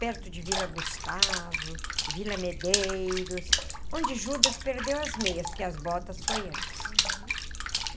perto de Vila Gustavo, Vila Medeiros, onde Judas perdeu as meias, porque as botas foi antes.